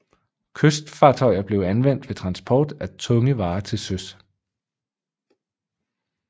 Kystfartøjer blev anvendt ved transport af tunge varer til søs